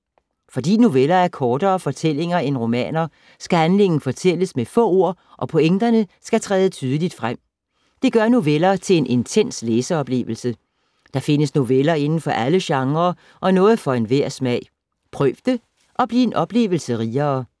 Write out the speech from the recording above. Fordi noveller er kortere fortællinger end romaner, skal handlingen fortælles med få ord og pointerne skal træde tydeligt frem. Det gør noveller til en intens læseoplevelse. Der findes noveller indenfor alle genrer og noget for enhver smag. Prøv det og bliv en oplevelse rigere.